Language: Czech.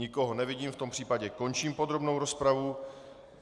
Nikoho nevidím, v tom případě končím podrobnou rozpravu.